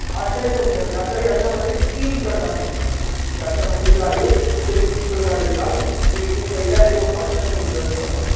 आशय सौंदर्य आता याच्यामध्ये तीन प्रकार येतात. याच्यामध्ये जे आहे ते तीन प्रकार येतात. मी लिहिते. पहिला येतो आशयसौंदर्य.